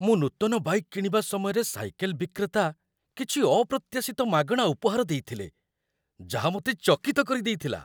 ମୁଁ ନୂତନ ବାଇକ୍‌ କିଣିବା ସମୟରେ ସାଇକେଲ ବିକ୍ରେତା କିଛି ଅପ୍ରତ୍ୟାଶିତ ମାଗଣା ଉପହାର ଦେଇଥିଲେ ଯାହା ମୋତେ ଚକିତ କରିଦେଇଥିଲା